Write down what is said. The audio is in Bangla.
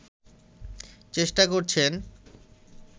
চেষ্টা করছেন